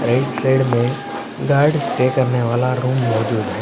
Right side में guard stay करने वाला रूम मौजूद है।